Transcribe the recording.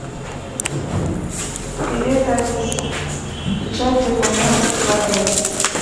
привет алиса печать документов в отеле